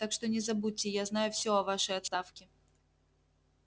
так что не забудьте я знаю всё о вашей отставке